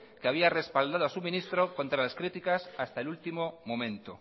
que había respaldado a su ministro contra las críticas hasta el último momento